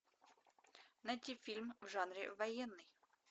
найти фильм в жанре военный